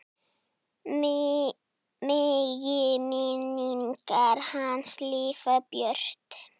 Megi minning hans lifa björt.